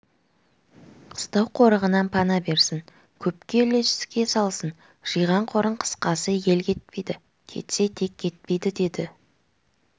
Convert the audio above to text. қыстау қорығынан пана берсін көпке үлеске салсын жиған қорын қысқасы ел кетпейді кетсе тек кетпейді деді